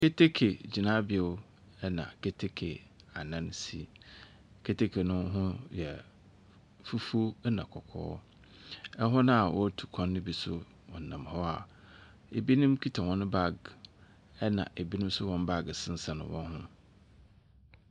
Keteke gyinabew na keteke anan si. Keteke no ho yɛ fufuw na kɔkɔɔ. Hɔn a wɔrotu kwan no bi nso wɔnam hɔ a binom kita hɔn bag, na binom nso hɔn baage sensɛn hɔn ho.